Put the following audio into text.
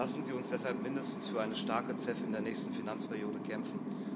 Lassen Sie uns deshalb mindestens für eine starke anlegen CEF in der nächsten Finanzperiode kämpfen.